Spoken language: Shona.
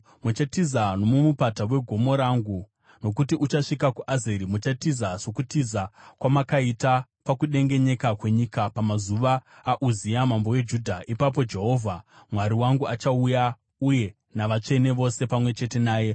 Muchatiza nomumupata wegomo rangu, nokuti uchasvika kuAzeri. Muchatiza sokutiza kwamakaita pakudengenyeka kwenyika pamazuva aUzia mambo weJudha. Ipapo Jehovha Mwari wangu achauya, uye navatsvene vose pamwe chete naye.